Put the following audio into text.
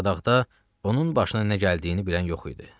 Çardaqda onun başına nə gəldiyini bilən yox idi.